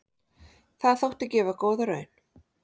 Það þótti gefa góða raun.